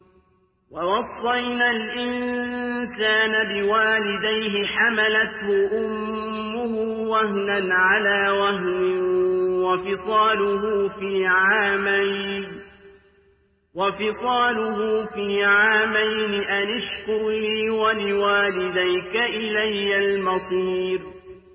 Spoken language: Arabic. وَوَصَّيْنَا الْإِنسَانَ بِوَالِدَيْهِ حَمَلَتْهُ أُمُّهُ وَهْنًا عَلَىٰ وَهْنٍ وَفِصَالُهُ فِي عَامَيْنِ أَنِ اشْكُرْ لِي وَلِوَالِدَيْكَ إِلَيَّ الْمَصِيرُ